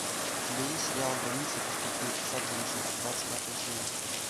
у тебя есть сериал граница пустоты сад грешников двадцать пятая серия